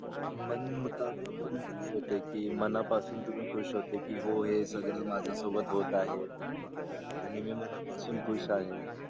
मन मुता बिक तुम्ही खुश होते की मना पासून तुम्ही खुश होते की हो हे सगळं माझ्या सोबत होत आहे. आणि मी मना पासून खुश आहे.